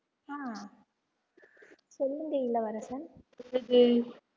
ஆஹ் சொல்லுங்க இளவரசன்